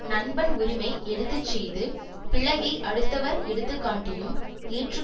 நண்பன் உரிமை எடுத்து செய்து பிழையை அடுத்தவர் எடுத்துக்காட்டியும் ஏற்று